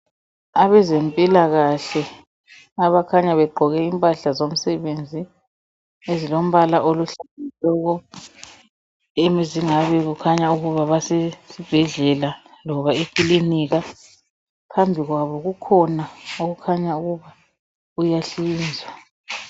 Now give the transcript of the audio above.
Abezempilakahle abakhanya begqoke impahla zomsebenzi, ezilombala oluhlaza tshoko! Ezingabe zikhanya ukuthi basesibhedlela, loba ekilinika. Phambi kwabo, kukhona okukhanya kuyahlinzwa.